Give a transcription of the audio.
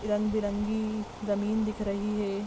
रंगबेरंगी जमीन दिख रही है।